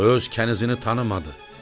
O öz kənizini tanımadı.